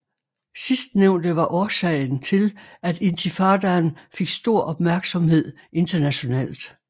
Sidstnævnte var årsagen til at intifadaen fik stor opmærksomhed internationalt